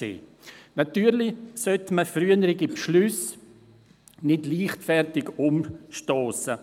Sicher sollte man frühere Beschlüsse nicht leichtfertig umstossen.